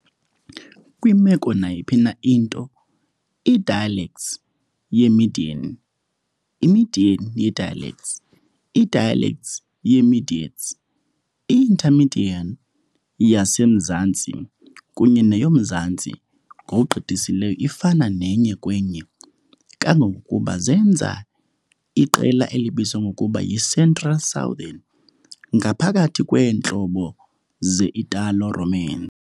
Kwimeko nayiphi na into, i-dialects ye-median, i-median ye-dialects, i-dialects ye-mediats, i-intermedian yasemzantsi kunye neyomzantsi ngokugqithiseleyo ifana enye kwenye, kangangokuba zenza "iqela elibizwa ngokuba yi-central-southern" ngaphakathi kweentlobo ze-Italo-Roman.